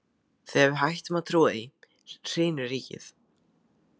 Þegar við hættum að trúa því, hrynur ríkið!